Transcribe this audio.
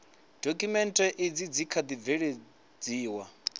dokhumenthe izi dzi kha ḓi bveledziwa